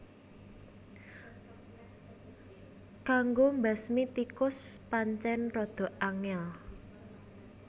Kanggo mbasmi tikus pancén rada angél